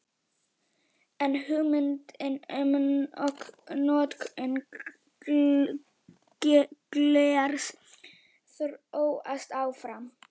En hugmyndin um notkun glers þróast áfram.